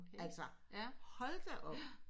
Altså hold da op